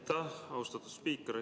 Aitäh, austatud spiiker!